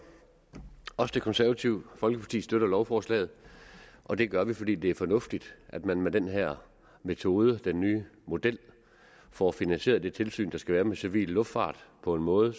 også det konservative folkeparti støtter lovforslaget og det gør vi fordi det er fornuftigt at man med den her metode den nye model kan få finansieret det tilsyn der skal være med civil luftfart på en måde